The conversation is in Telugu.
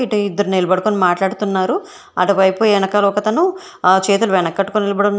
అంటే ఇద్దరు నిలబడుకొని మాట్లాడుతున్నారు అటు వైపు ఎనకాల ఒకతను చేతులు వెనకట్టుకొని నిలబడి ఉన్నాడు.